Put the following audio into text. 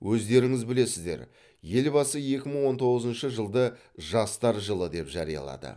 өздеріңіз білесіздер елбасы екі мың он тоғызыншы жылды жастар жылы деп жариялады